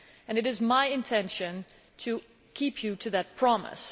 It is my intention to keep you to that promise.